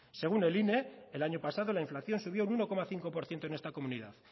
según el ine el año pasado la inflación subió un uno coma cinco por ciento en esta comunidad